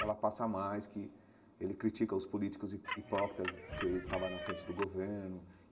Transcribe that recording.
ela passa mais que ele critica os políticos hi hipócritas que estava na frente do governo.